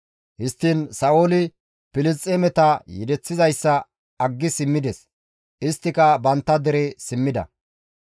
Histtiin Sa7ooli Filisxeemeta yedeththizayssa aggi simmides; isttika bantta dere simmida.